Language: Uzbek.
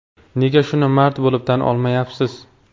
Nega shuni mard bo‘lib, tan olmayapsiz?!